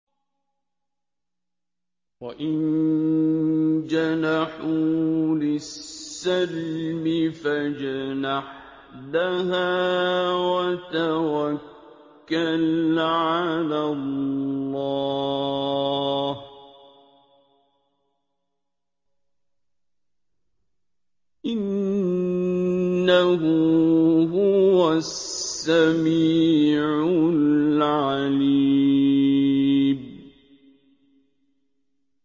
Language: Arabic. ۞ وَإِن جَنَحُوا لِلسَّلْمِ فَاجْنَحْ لَهَا وَتَوَكَّلْ عَلَى اللَّهِ ۚ إِنَّهُ هُوَ السَّمِيعُ الْعَلِيمُ